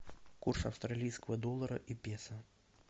курс австралийского доллара и песо